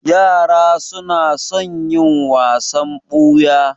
Yara su na son yin wasan ɓuya